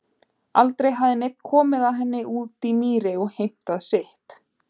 Aldrei hafði neinn komið að henni úti í mýri og heimtað sitt.